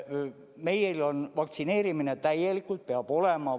Meil on vaktsineerimine täielikult – peab olema!